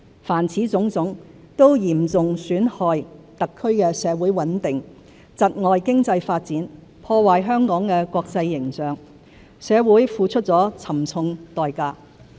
凡此種種，都嚴重損害特區的社會穩定、窒礙經濟發展、破壞香港的國際形象，社會付出了沉重代價。